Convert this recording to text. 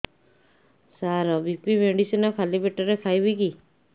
ସାର BP medicine ଖାଲି ପେଟରେ ଖାଇବି କି